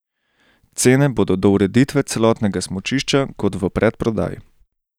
Cene bodo do ureditve celotnega smučišča kot v predprodaji.